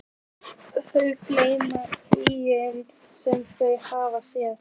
Þau gleyma engu sem þau hafa séð.